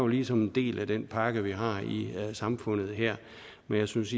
ligesom en del af den pakke vi har i samfundet her men jeg synes